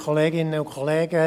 Kommissionssprecher